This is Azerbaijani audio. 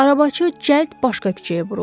Arabacı cəld başqa küçəyə vuruldu.